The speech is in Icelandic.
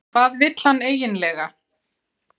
Hvað vill hann eiginlega?